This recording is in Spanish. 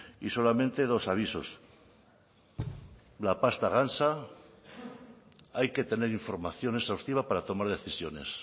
y solamente dos avisos la pasta gansa hay que tener información exhaustiva para tomar decisiones